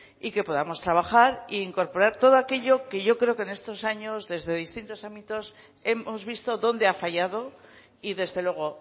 y que podamos trabajar e incorporar todo aquello que yo creo que en estos años desde distintos ámbitos hemos visto donde ha fallado y desde luego